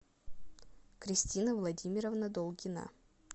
кристина владимировна долгина